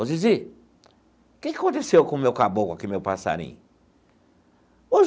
Ô Zizi, que que aconteceu com o meu Caboclo aqui, meu passarinho?